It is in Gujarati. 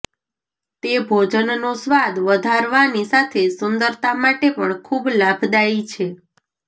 તે ભોજનનો સ્વાદ વધારવાની સાથે સુંદરતા માટે પણ ખુબ લાભદાઇ છે